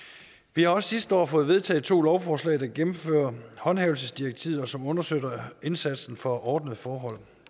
vi har også sidste år fået vedtaget to lovforslag der gennemfører håndhævelsesdirektivet og som understøtter indsatsen for ordnede forhold